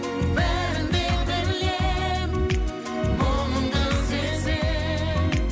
бәрін де білем мұңыңды сезем